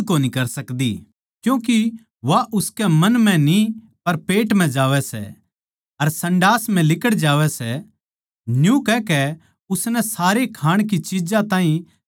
क्यूँके वा उसकै मन म्ह न्ही पर पेट म्ह जावै सै अर संडास म्ह लिकड़ जावै सै न्यू कहकै उसनै सारी खाणै की चिज्जां ताहीं शुद्ध ठहराया